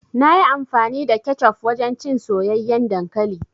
Nayi amfani da kecof wajen cin soyayyen dankali.